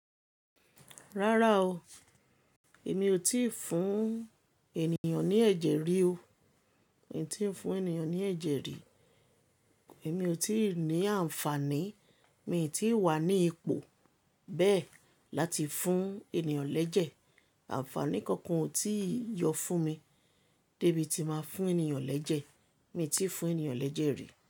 Rárá o, èmi ò tíì fún ènìyàn ní ẹ̀jẹ̀ rí o. Mi ò tí fún ènìyàn ní ẹ̀jẹ̀ rí. Èmi ò tí ì ní àǹfààní, mi ò tí wà ní ipò bẹ́ẹ̀ láti fún ènìyàn lẹ́jẹ̀. Àǹfààní kankan ò tí yọ fún mi débi tí màá fún ènìyàn lẹ́jẹ̀. Mi ò tí fún ènìyàn lẹ́jẹ̀ rí.